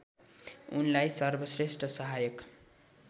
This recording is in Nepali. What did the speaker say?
उनलाई सर्वश्रेष्ठ सहायक